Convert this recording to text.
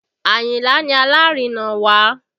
Ayinla ni alárinà wa